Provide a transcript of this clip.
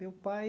Meu pai...